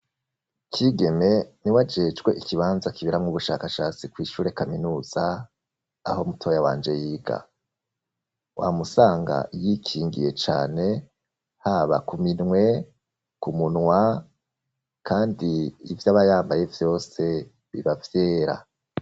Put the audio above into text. Kigeme niwe ajejwe ikibanza kibera mwo ubushakashatsi kwishure kaminuza aho mutoya wanje yiga wamusanga yikingiye cane haba kuminwe kumunwa kandi ivy'abayambaye vyose bibavyera.